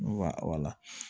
N wala wala